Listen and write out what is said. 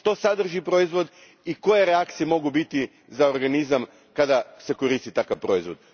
Što sadrži proizvod i koje reakcije mogu biti za organizam kada se koristi takav proizvod?